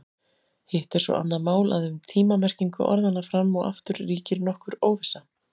Hitt er svo annað mál að um tíma-merkingu orðanna fram og aftur ríkir nokkur óvissa.